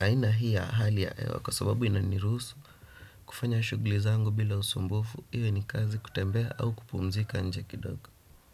aina hii ya hali ya hewa kwa sababu inaniruhusu. Kufanya shughuli zangu bila usumbufu, iwe ni kazi kutembea au kupumzika nje kidogo.